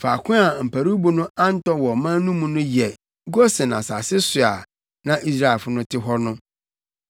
Faako a mparuwbo no antɔ wɔ ɔman no mu no yɛ Gosen asase so a na Israelfo no te hɔ no.